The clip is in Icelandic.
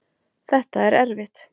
Þetta er erfitt